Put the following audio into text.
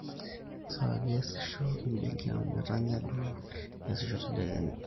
kesaaja eesisho e benki amu etanya duo eesisho tedekenya